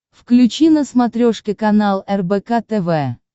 включи на смотрешке канал рбк тв